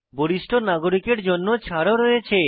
বরিষ্ঠ নাগরিকের জন্য ছাড় ও রয়েছে